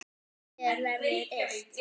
Mér verður illt.